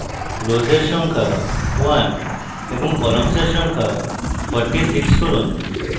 rows এর সংখ্যা 1 এবং columns এর সংখ্যা 46 করুন